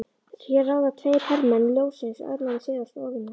Hér ráða tveir hermenn ljóssins örlögum sigraðs óvinar.